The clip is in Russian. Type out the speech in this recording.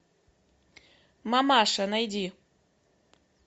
мамаша найди